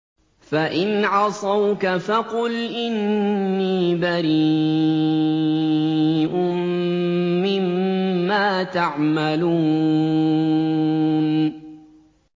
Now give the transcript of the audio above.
فَإِنْ عَصَوْكَ فَقُلْ إِنِّي بَرِيءٌ مِّمَّا تَعْمَلُونَ